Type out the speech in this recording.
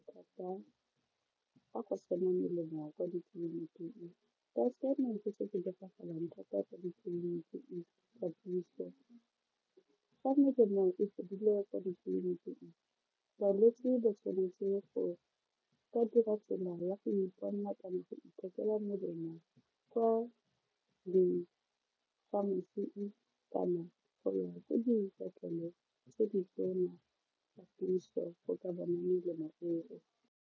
Fa go se na melemo kwa ditleliniking se se diragalang thata ko ditleliniking tsa puso fa melemo e fedile kwa ditleliniking balwetse ba tshwanetse go ka dira tsela la go iponela kana go ithekela melemo kwa di pharmacy-ng kana go ya ko dipetleleng tse di tse ditona tsa puso go ka bona melemo eo.